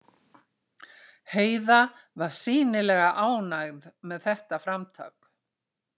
Heiða var sýnilega ánægð með þetta framtak.